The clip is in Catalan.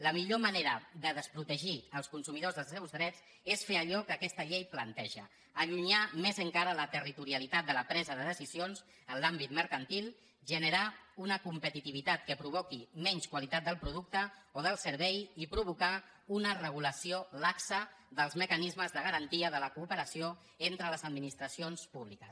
la millor manera de desprotegir els consumidors dels seus drets és fer allò que aquesta llei planteja allunyar més encara la territorialitat de la presa de decisions en l’àmbit mercantil generar una competitivitat que provoqui menys qualitat del producte o del servei i provocar una regulació laxa dels mecanismes de garantia de la cooperació entre les administracions públiques